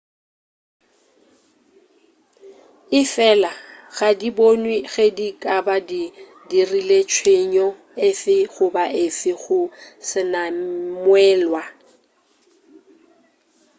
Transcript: efela ga di bonwe ge di ka ba di dirile tshenyo efe goba efe go senamwelwa